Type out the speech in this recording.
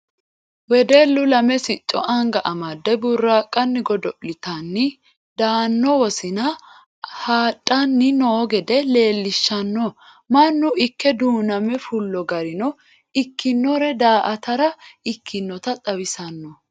Wedellu lame sicco anga amdde buraqani godo'littanni daano wosina haadhani no gede leellishano mannu ikke duuname fullo garino ikkinore daa"attara ikkinotta xawisano.